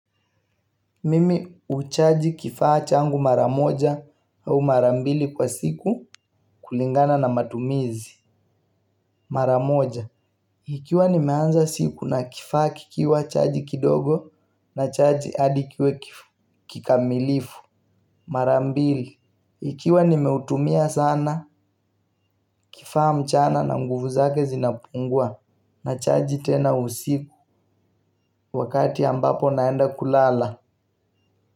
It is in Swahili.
Mimi huchaji kifaa changu mara moja au mara mbili kwa siku kulingana na matumizi. Mara moja, ikiwa nimeanza siku na kifaa kikiwa chaji kidogo, ninachaji hadi kiwe kikamilifu. Marambili, ikiwa nimeutumia sana kifaa mchana na nguvu zake zinapungua, nachaji tena usiku. Wakati ambapo naenda kulala.